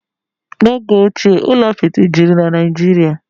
N'oge ochie, ụlọ apịtị juru na Naịjirịa